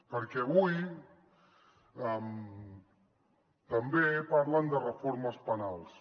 perquè avui també parlen de reformes penals